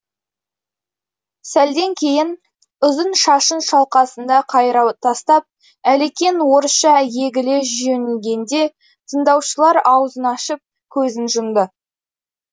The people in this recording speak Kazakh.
сәлден кейін ұзын шашын шалқасына қайыра тастап әлекең орысша егіле жөнелгенде тыңдаушылар аузын ашып көзін жұмды